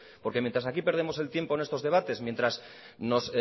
porque mientas aquí perdemos el tiempo en estos debates mientras nos